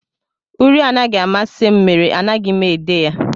Uri anaghị amasị m mere anaghị m ede ya